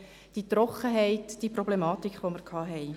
die Trockenheit; die Probleme, die wir hatten.